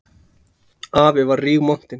Afi var rígmontinn.